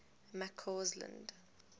mccausland